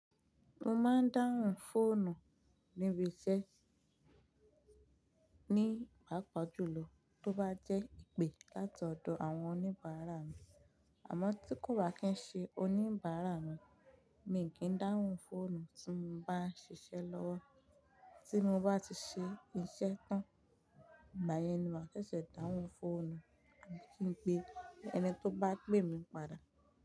Mo máa ń dáhùn fóònù níbi iṣẹ́ ní pàápàá jùlọ tó bá jẹ́ ìpè láti ọ̀dọ̀ àwọn oníbàárà mi, àmọ́ tí kò bá kí ń ṣe oníbàárà mi, mi kì í dáhùn fóònù tí mo bá ń ṣiṣẹ́ lọ́wọ́. Tí mo bá ti ṣe iṣẹ́ tán, báyẹn ni màá fẹsẹ̀ dáhùn fóònù àti pé ẹni tó bá pè mi padà.